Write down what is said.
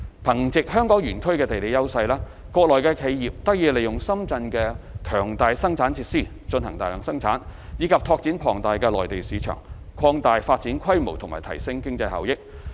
憑藉香港園區的地利優勢，園內企業得以利用深圳的強大生產設施進行大量生產，以及拓展龐大的內地市場，擴大發展規模及提升經濟效益。